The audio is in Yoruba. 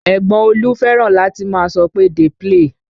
Ẹ̀gbọ́n Olú fẹ́ràn láti máa sọ pé "dey play"